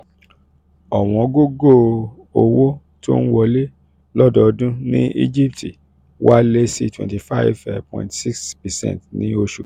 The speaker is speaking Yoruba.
owongogo owó tó ń wọlé lọ́dọọdún ní egypt wálé sí twenty five um point six percent ní oṣù